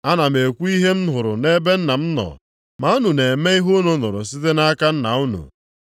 Ana m ekwu ihe m hụrụ nʼebe Nna m nọ, ma unu na-eme ihe unu nụrụ site nʼaka nna unu.”